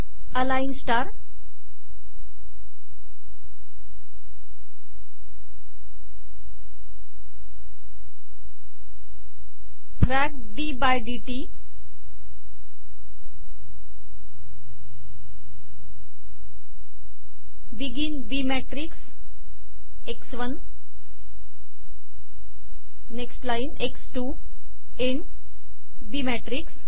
align star frac D by DT O F begin b matrix x 1 next line x 2end b matrix